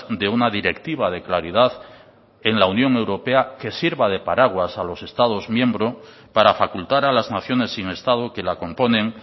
de una directiva de claridad en la unión europea que sirva de paraguas a los estados miembro para facultar a las naciones sin estado que la componen